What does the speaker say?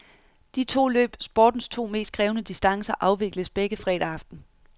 De to løb, sportens to mest krævende distancer, afvikles begge fredag aften.